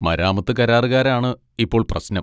മരാമത്ത് കരാറുകാരാണ് ഇപ്പോൾ പ്രശ്നം.